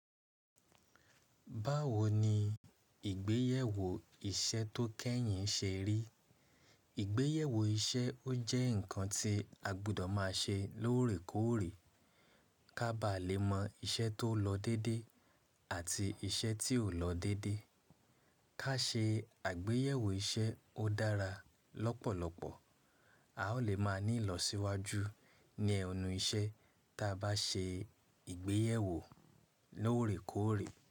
Báwo ni ìgbéyèwò iṣẹ́ tó kẹ́yìn ṣe rí? Ìgbéyèwò iṣẹ́ ó jẹ́ ǹkan tí a gbọdọ̀ máa ṣe lóòrèkóòrè ká bá lè mọ iṣẹ́ tó lọ dédé àti iṣẹ́ tí ò lọ dédé. Ká ṣe àgbéyèwò iṣẹ́ ó dára lọ́pọ̀lọpọ̀. A ó lè máa ní ìlọsíwájú ní ẹnu iṣẹ́ ta bá ṣe ìgbéyèwò lóòrèkóòrè.